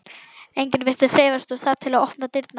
Enginn virðist hreyfast úr stað til að opna dyrnar.